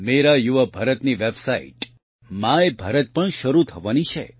મેરા યુવા ભારતની website my Bharat પણ શરૂ થવાની છે